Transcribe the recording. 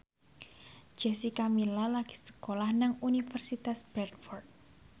Jessica Milla lagi sekolah nang Universitas Bradford